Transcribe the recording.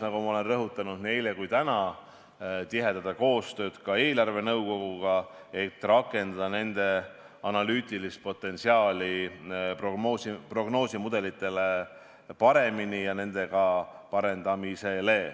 Nagu ma olen rõhutanud nii eile kui ka täna, tuleks tihendada koostööd ka eelarvenõukoguga, et rakendada paremini nende analüütilist potentsiaali prognoosimudelitele.